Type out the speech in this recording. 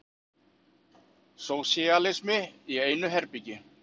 Sósíalismi í einu herbergi.